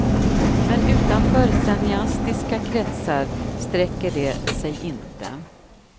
Men utanför cineastiska kretsar sträcker de sig inte.